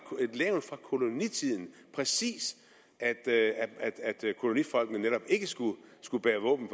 levn fra kolonitiden at kolonifolkene netop ikke skulle skulle bære våben